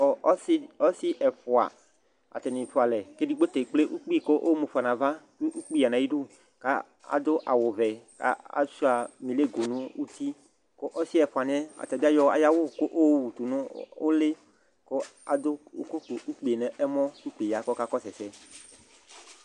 Ɔsi ɛfua dini fualɛ ku edigbo ta ekple ukpi ku ayɔ mu ƒe nu ava ukpi ya nu ayidu adu awu vɛ kashua milego nu uti ku ɔsi ɛfuaniɛ ayɔ ayu awu yowutu nu uli ku adu ukui ka ukpiwa nɛmo ukpi ya ku ɔkakɔsu ɛsɛ